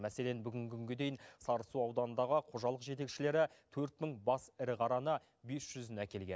мәселен бүгінгі күнге дейін сарысу ауданындағы қожалық жетекшілері төрт мың бас ірі қараны бес жүзін әкелген